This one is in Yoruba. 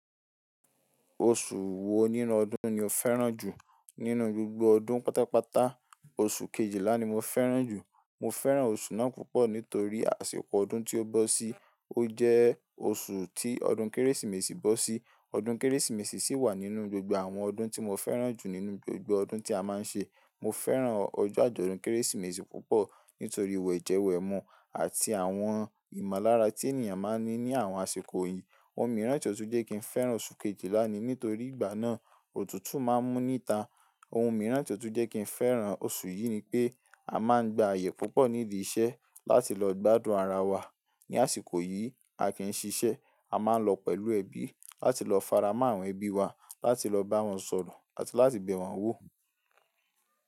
Oṣù wo nínú ọdún ni o fẹ́ràn jù? Nínú gbogbo ọdún pátápátá, oṣù kejìlá ni mo fẹ́ràn jù. Mo fẹ́ràn oṣù ná púpọ̀ nítorí àsìkò ọdún tí ó bọ́ sí. Ó jẹ́ oṣù tí ọdún Kérésìmesì bọ́ sí. Ọdún Kérésìmesì sì wà nínú gbogbo àwọn ọdún tí mo fẹ́ràn jù nínú gbogbo ọdún tí a máa ń ṣe. Mo fẹ́ràn ọjọ́ àjọ̀dún Kérésìmesì púpọ̀ nítorí ìwẹ̀jẹwẹ̀ mu àti àwọn ìmọ̀lára tí ènìyàn máa ń ní ní àwọn àsìkò yìí. Ohun mìíràn tí ó tún jẹ́ kí n fẹ́ràn oṣù kejìlá ni nítorí ìgbà náà, òtútù máa ń mú níta. Ohun mìíràn tí ó tún jẹ́ kí n fẹ́ràn oṣù yìí ni pé a máa ń gba àyè púpọ̀ nílé iṣẹ́ láti lọ gbádùn ara wa. Ni àsìkò yìí, a kì í ṣiṣẹ́. A máa ń lọ pẹ̀lú ẹbí láti lọ faramọ́ àwọn ẹbí wa, láti lọ bá wọn sọ̀rọ̀ àti láti bẹ̀ wọ́n wò.